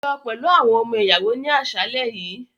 Lọ pẹlu awọn ọmọ-iyawo ni aṣalẹ yii!